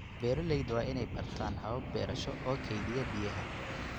Beeraleyda waa in ay bartaan habab beerasho oo kaydiya biyaha.